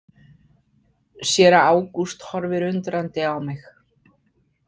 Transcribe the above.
Séra Ágúst horfir undrandi á mig.